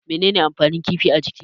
Mene ne amfanin kifi a jiki?